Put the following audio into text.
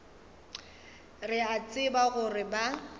re a tseba gore ba